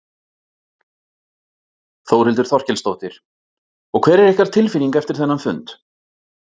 Þórhildur Þorkelsdóttir: Og hver er ykkar tilfinning eftir þennan fund?